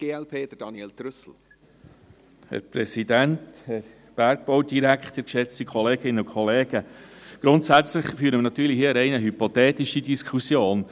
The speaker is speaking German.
Grundsätzlich führen wir hier natürlich eine rein hypothetische Diskussion.